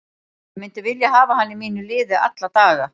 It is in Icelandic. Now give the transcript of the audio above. Ég myndi vilja hafa hann í mínu liði alla daga.